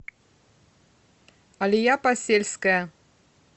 алия посельская